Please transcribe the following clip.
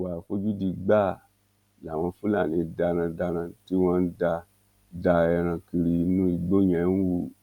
ìwà àfojúdi gbáà làwọn fúlàní darandaran tí wọn ń da da ẹran kiri inú igbó yẹn ń hù